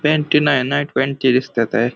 पँटी नाही night panty दिसत्याते.